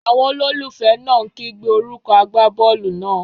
Àwọn olólùfẹ́ náà ń kígbe orúkọ agbábọ́ọ̀lù náà.